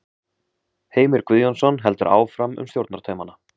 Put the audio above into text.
Heimir Guðjónsson heldur áfram um stjórnartaumana.